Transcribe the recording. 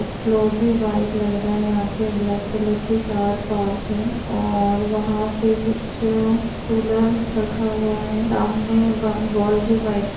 Floor भी white लग रहा है यहाँ पे । ब्लैक कलर की कार पार्क है और वहाँ पे कुछ कूलर रखा हुआ है। सामने वो वॉल भी व्हाइट --